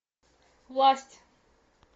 власть